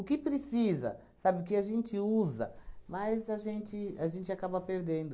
que precisa, sabe, o que a gente usa, mas a gente a gente acaba perdendo.